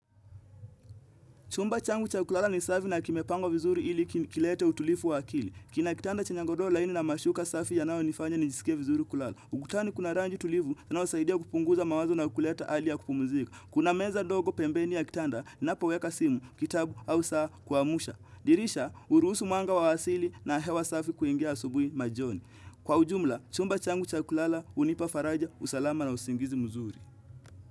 Chumba changu cha kulala ni safi na kimepangwa vizuri ili kilete utulifu wa akili. Kina kitanda chenye ngodoo laini na mashuka safi yanayo nifanya nijisike vizuri kulala. Ugutani kuna rangi tulivu inayo saidia kupunguza mawazo na kuleta ali ya kupumuzika. Kuna meza dogo pembeni ya kitanda ninapo weka simu, kitabu au saa kuamsha. Dirisha, huruusu mwanga wa asili na hewa safi kuingia asubui majoni. Kwa ujumla, chumba changu cha kulala, unipa faraja, usalama na usingizi mzuri.